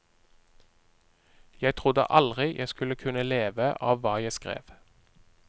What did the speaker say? Jeg trodde aldri jeg skulle kunne leve av hva jeg skrev.